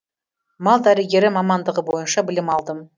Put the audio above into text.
мал дәрігері мамандығы бойынша білім алдым